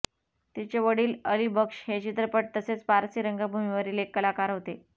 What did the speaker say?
तिचे वडील अली बक्ष हे चित्रपट तसेच पारसी रंगभूमीवरील एक कलाकार होते